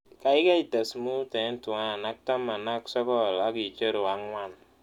Gaigai tes mut eng' tuan ak taman ak sogol ak icheruu ang'wan